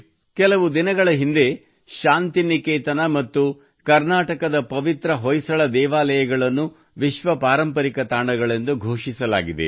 ಕೆಲವು ದಿನಗಳ ಹಿಂದೆ ಶಾಂತಿನಿಕೇತನ ಮತ್ತು ಕರ್ನಾಟಕದ ಪವಿತ್ರ ಹೊಯ್ಸಳ ದೇವಾಲಯಗಳನ್ನು ವಿಶ್ವ ಪಾರಂಪರಿಕ ತಾಣಗಳೆಂದು ಘೋಷಿಸಲಾಗಿದೆ